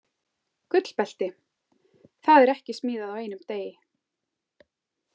Gullbelti, það er ekki smíðað á einum degi.